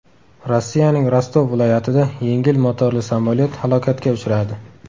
Rossiyaning Rostov viloyatida yengil motorli samolyot halokatga uchradi.